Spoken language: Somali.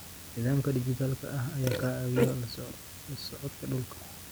Nidaamka dhijitaalka ah ayaa ka caawiya la socodka dhulka.